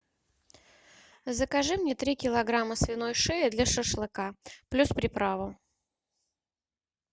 закажи мне три килограмма свиной шеи для шашлыка плюс приправу